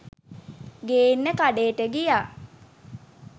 ගේන්න කඬේට ගියා.